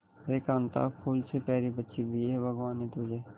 देख कांता फूल से प्यारी बच्ची दी है भगवान ने तुझे